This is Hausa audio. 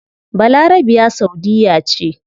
Balarabiya saudiyya ce